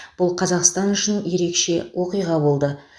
бұл қазақстан үшін ерекше оқиға болды